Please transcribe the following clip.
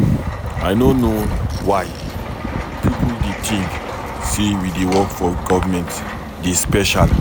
I no know why people dey think say we wey dey work for government dey special.